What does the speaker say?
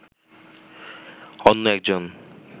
অন্য একজন